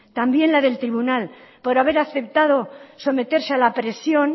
también la del tribunal por haber aceptado someterse a la presión